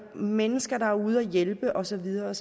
mennesker der er ude at hjælpe og så videre